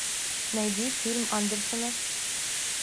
найди фильм андерсена